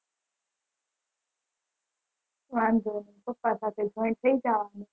વાંધો નઈ પપ્પા સાથે join થઇ જાઓને